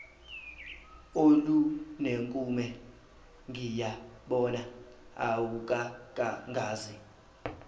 olunenkume ngiyabona awukakangazi